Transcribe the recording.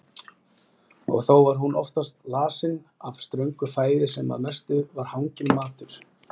Og þó var hún oft lasin af ströngu fæði sem að mestu var hanginn matur.